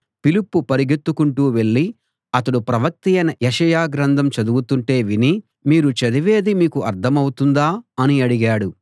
ఫిలిప్పు పరుగెత్తుకుంటూ వెళ్ళి అతడు ప్రవక్తయైన యెషయా గ్రంథం చదువుతుంటే విని మీరు చదివేది మీకు అర్థమవుతుందా అని అడిగాడు